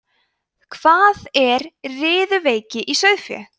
hvað er riðuveiki í sauðfé